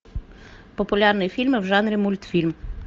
популярные фильмы в жанре мультфильм